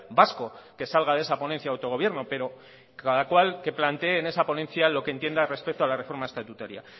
vasco que salga de esa ponencia de autogobierno pero cada cual que plantee en esa ponencia lo que entienda respecto a la reforma estatutaria